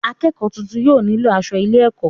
akẹ́kọ̀ọ́ tuntun yóò nílò asọ ilé-ẹ̀kọ́.